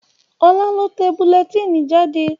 Ọlá lọ tẹ bulẹtínì jáde